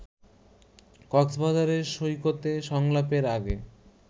কক্সবাজারের সৈকতে সংলাপের আগে